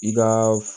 I ka